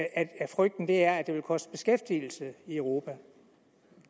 frygten er at det vil koste beskæftigelse i europa